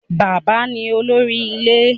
Bàbá ni Olórí Ilé